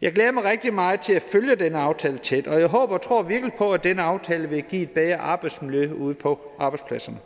jeg glæder mig rigtig meget til at følge den her aftale tæt og jeg håber og tror virkelig på at den aftale vil give et bedre arbejdsmiljø ude på arbejdspladserne